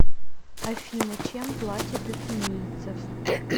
афина чем платят у кенийцев